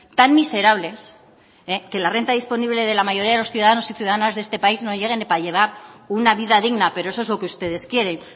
tan miserables que la renta disponible de la mayoría de los ciudadanos y ciudadanas de este país no llegue ni para llevar una vida digna pero eso es lo que ustedes quieren